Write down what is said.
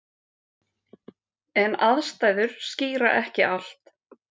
En aðstæður skýra ekki allt.